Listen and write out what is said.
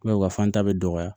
u ka fan ta bɛ dɔgɔya